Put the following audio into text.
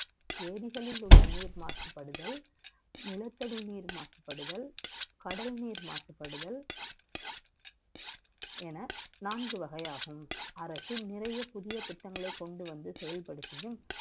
ஏரிகளில் உள்ள நீர் மாசுபடுதல் நிலத்தடி நீர் மாசப்படுதல் கடல் நீர் மாசுபடுதல் என நான்கு வகையாகும் அரசு நிறைய புதிய திட்டங்களை செயல்படுத்தியும்